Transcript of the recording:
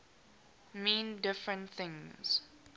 mean different things